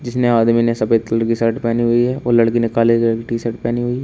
जिसने आदमी ने सफेद कलर की शर्ट पहनी हुई है और लड़की ने काले कलर की टी शर्ट पहनी हुई है।